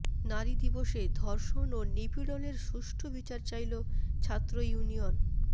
নারী দিবসে ধর্ষণ ও নিপীড়নের সুষ্ঠু বিচার চাইল ছাত্র ইউনিয়ন